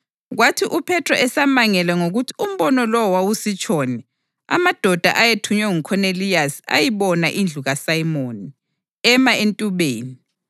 Kwathi uPhethro esamangele ngokuthi umbono lowo wawusitshoni, amadoda ayethunywe nguKhoneliyasi ayibona indlu kaSimoni, ema entubeni.